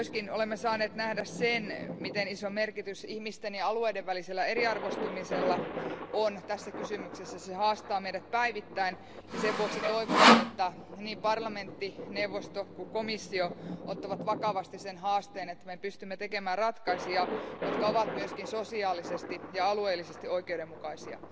Olemme myös saaneet nähdä sen, miten iso merkitys ihmisten ja alueiden välisellä eriarvoistumisella on tässä kysymyksessä. Se haastaa meidät päivittäin ja sen vuoksi toivonkin, että niin parlamentti, neuvosto kuin komissiokin ottavat vakavasti sen haasteen, että me pystymme tekemään ratkaisuja, jotka ovat myös sosiaalisesti ja alueellisesti oikeudenmukaisia.